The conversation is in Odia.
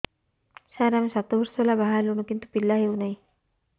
ସାର ଆମେ ସାତ ବର୍ଷ ହେଲା ବାହା ହେଲୁଣି କିନ୍ତୁ ପିଲା ହେଉନାହିଁ